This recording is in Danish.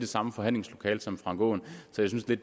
samme forhandlingslokale som herre frank aaen så jeg synes det